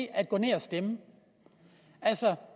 at gå ned og stemme altså